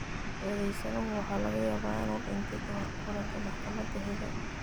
Eedaysanuhu waxa laga yaabaa inuu dhintay ka hor kulanka maxkamadda xiga.